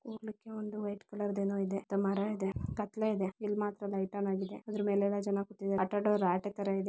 ಊರೊಳಗೆರೆ ಒಂದು white colour ದೊಂದು ಏನು ಇದೆ ಮರ ಇದೆ ಕತ್ತಲೆ ಇದೆ ಇಲ್ಲಿ ಮಾತ್ರ ಲೈಟ್ ಆನ್ ಆಗಿದೆ ಆದ್ರೂ ಮೇಲೆಲ್ಲ ಜನ ಕೂತಿದ್ದಾರೆ ಅಡ್ಡ ಅಡ್ಡ ರಾಟಿ ತರ ಇದೆ